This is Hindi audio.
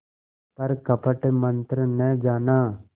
पर कपट मन्त्र न जाना